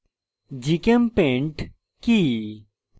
gchempaint কি